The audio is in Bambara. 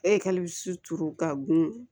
E ka suturu ka gun